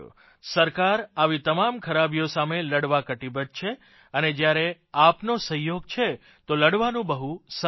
સરકાર આવી તમામ ખરાબીઓ સામે લડવા કટીબદ્ધ છે અને જયારે આપણે સહયોગ છે તો લડવાનું બહુ સરળ છે